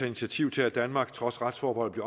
initiativ til at danmark trods retsforbeholdet